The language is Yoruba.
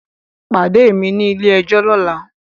Pade mi ni ile-ẹjọ lọla!